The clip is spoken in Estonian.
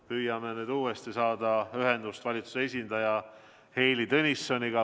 Püüame nüüd uuesti saada ühendust valitsuse esindaja Heili Tõnissoniga.